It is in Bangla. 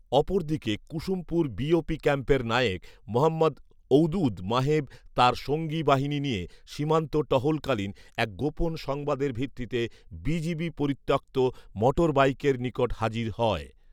অপরদিকে কুসুমপুর বিওপি ক্যাম্পের নায়েক মোহম্মদ ঔদুদ মাহেব তার সঙ্গী বাহিনী নিয়ে সীমান্ত টহলকালীন, এক গোপন সংবাদের ভিত্তিতে বিজিবি পরিত্যক্ত মোটরবাইকের নিকট হাজির হয়